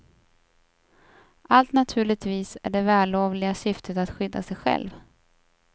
Allt naturligtvis i det vällovliga syftet att skydda sig själv.